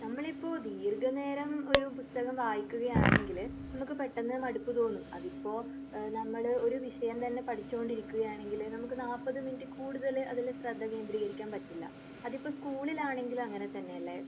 നമ്മള് ഇപ്പൊ ദീർഘ നേരം ഒരു പുസ്തകം വായിക്കുകയാ ണെങ്കില് നമുക്ക് പെട്ടെന്ന് മടുപ്പ് തോന്നും അതിപ്പോ ഏഹ് നമ്മള് ഒരു വിഷയം തന്നെ പഠിച്ചോണ്ടിരിക്കുകയാണെങ്കില് നമുക്ക് നൽപ്പത് മിനുട്ട് കൂടുതൽ അതില് ശ്രദ്ധ കേന്ദ്രീകരിക്കാൻ പറ്റില്ല. അതിപ്പോ സ്കൂളിലാണെങ്കിലും അങ്ങനെ തന്നെയല്ലേ?